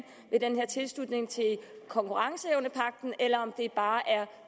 ved den her tilslutning til konkurrenceevnepagten eller om det bare er